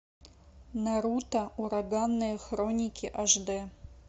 наруто ураганные хроники аш д